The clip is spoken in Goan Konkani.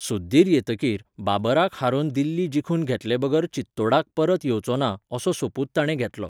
सुद्दीर येतकीर, बाबराक हारोवन दिल्ली जिखून घेतले बगर चित्तोडाक परत येवचोंना, असो सोपूत ताणें घेतलो.